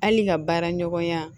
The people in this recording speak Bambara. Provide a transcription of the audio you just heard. Hali ka baara ɲɔgɔnya